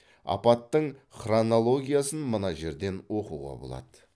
апаттың хронологиясын мына жерден оқуға болады